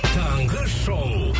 таңғы шоу